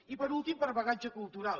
i per últim per bagatge cultural